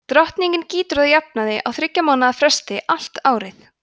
drottningin gýtur að jafnaði á þyggja mánaða fresti allt árið